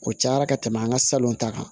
O cayara ka tɛmɛ an ka salon ta kan